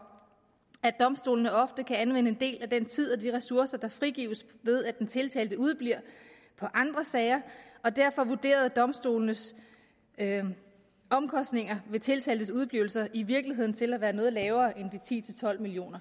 at domstolene ofte kan anvende en del af den tid og de ressourcer der frigives ved at den tiltalte udebliver på andre sager og derfor vurderedes domstolenes omkostninger ved tiltaltes udeblivelser i virkeligheden til at være noget lavere end de ti til tolv million